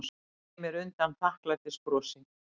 Smeygi mér undan þakklætisbrosi.